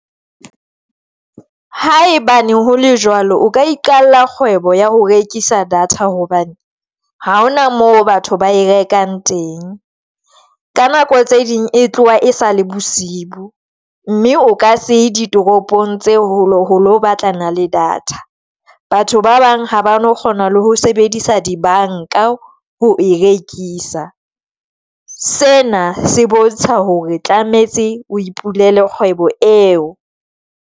Ha e bane hole jwalo o ka iqalla kgwebo ya ho rekisa data hobane ha hona moo batho ba e rekang teng. Ka nako tse ding e tloha e sale bosiu mme o ka se di toropong tse hole batlana le data. Batho ba bang ha ba no kgona le ho sebedisa di banka ho e rekisa. Sena se bontsha hore tlametse o ipulele kgwebo eo.